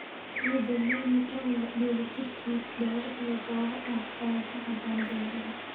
Ciidda loamy, oo leh dheellitir ciid, dhoobo iyo dhoobo ah, ayaa ku habboon beeraha.